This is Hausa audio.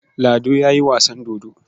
Lado ya yi wasan dodo.